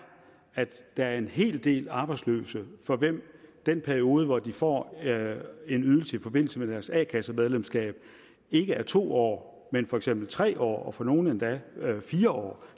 at der er en hel del arbejdsløse for hvem den periode hvor de får en ydelse i forbindelse med deres a kassemedlemskab ikke er to år men for eksempel tre år og for nogle endda fire år